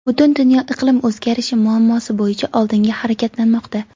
Butun dunyo iqlim o‘zgarishi muammosi bo‘yicha oldinga harakatlanmoqda.